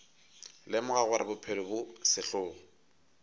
lemoga gore bophelo bo sehlogo